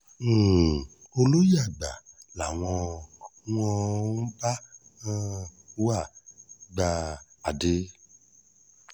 um olóye àgbà làwọn wọn ò bá um wá gba adé